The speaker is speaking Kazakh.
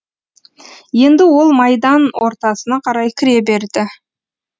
енді ол майдан ортасына қарай кіре берді